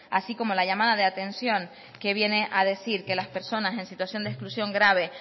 así como la llamada de atención que viene a decir que las personas en situación de exclusión grave